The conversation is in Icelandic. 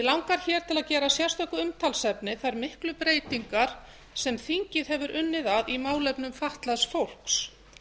langar til að gera að sérstöku umtalsefni þær miklu breytingar sem þingið hefur unnið að í málefnum fatlaðs fólks